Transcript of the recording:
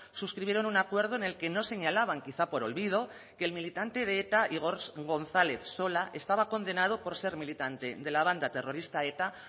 suscribieron un acuerdo en el que no señalaban quizá por olvido que el militante de eta igor gonzález sola estaba condenado por ser militante de la banda terrorista eta